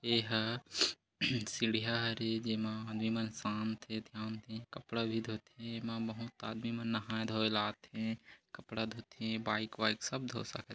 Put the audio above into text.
ये ह सीढ़ियाँ हरे जेमा आदमी मन अस्नांदे थे ध्यान थे कपड़ा भी धोथे एमा बहुत आदमी मन नहाए - धोए ल आथे कपड़ा धोथे बाइक वाइक सब धो सकत हे--